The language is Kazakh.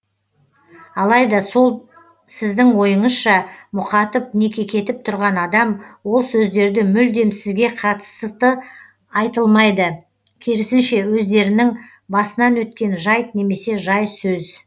алайда сол сіздің ойыңызша мұқатып не кекетіп тұрған адам ол сөздерді мүлдем сізге қатысты айтылмайды керісінше өздерінің басынан өткен жайт немесе жай сөз